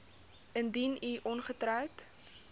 indien u ongetroud